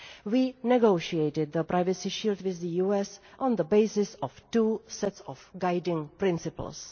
We negotiated the Privacy Shield with the US on the basis of two sets of guiding principles.